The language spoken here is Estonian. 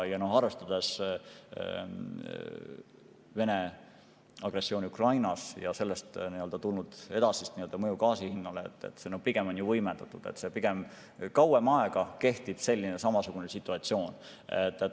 Arvestades Vene agressiooni Ukrainas ja sellest tulenevat edasist mõju gaasi hinnale, on kõik pigem võimendunud ja samasugune situatsioon kestab pigem kaua aega.